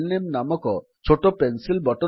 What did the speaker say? IT has the name type a file ନାମେ